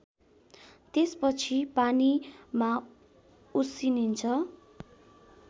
त्यसपछि पानीमा उसिनिन्छ